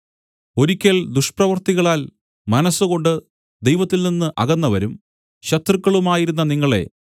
ഒരിക്കൽ ദുഷ്പ്രവൃത്തികളാൽ മനസ്സുകൊണ്ട് ദൈവത്തിൽനിന്ന് അകന്നവരും ശത്രുക്കളുമായിരുന്ന നിങ്ങളെ